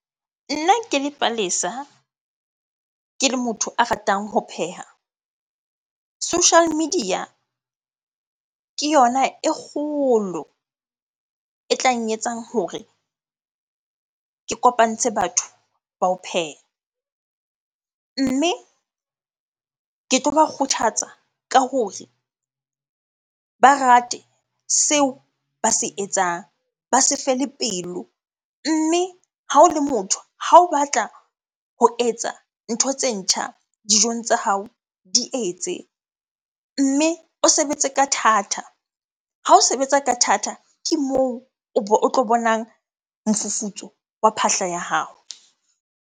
Nna ke le Palesa, ke le motho a ratang ho pheha. Social media ke yona e kgolo e tla nketsang hore ke kopantshe batho ba ho pheha. Mme ke tloba kgothatsa ka hore ba rate seo ba se etsang, ba se fele pelo mme ha o le motho ha o batla ho etsa ntho tse ntjha dijong tsa hao, di etse. Mme o sebetse ka thata. Ha o sebetsa ka thata, ke moo o bo o tlo bonang mofufutso wa phahla ya hao.